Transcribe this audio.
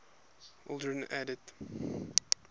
aldrin added